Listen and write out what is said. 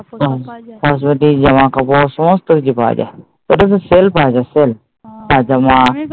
হ্যাঁ সেটাই, জামাকাপড় সমস্ত কিছু পাওয়া যায়। এটা কি সেলপাওয়া যায় সেল